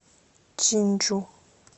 чинджу